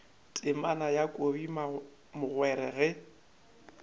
temana ya kobi mogwera ge